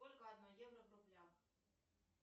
сколько одно евро в рублях